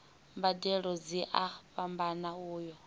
mbadelo dzi a fhambana uya